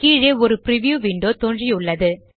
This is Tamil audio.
கீழே ஒரு பிரிவ்யூ விண்டோ தோன்றியுள்ளது